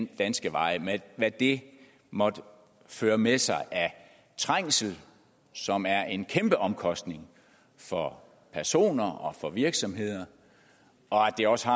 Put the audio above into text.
danske veje med hvad det måtte føre med sig af trængsel som er en kæmpe omkostning for personer og for virksomheder og at det også